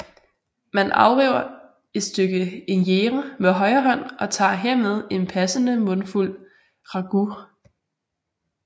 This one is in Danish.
Man afriver et stykke injera med højre hånd og tager hermed en passende mundfuld ragout